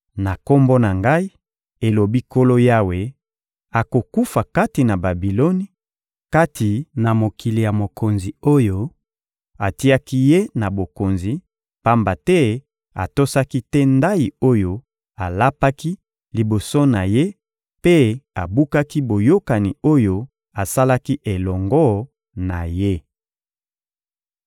Na Kombo na Ngai, elobi Nkolo Yawe, akokufa kati na Babiloni, kati mokili ya mokonzi oyo atiaki ye na bokonzi; pamba te atosaki te ndayi oyo alapaki liboso na ye mpe abukaki boyokani oyo asalaki elongo na ye.